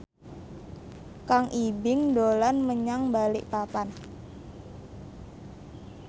Kang Ibing dolan menyang Balikpapan